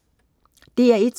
DR1: